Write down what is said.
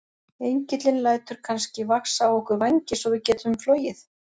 Engillinn lætur kannski vaxa á okkur vængi svo við getum flogið?